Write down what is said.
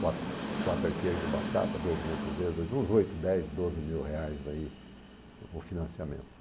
quatro quatro arqueires de batata, dois mil cruzeiros, uns oito, dez, doze mil reais aí, o financiamento.